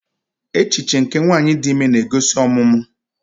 Echiche nke nwanyị dị ime na-egosi ọmụmụ.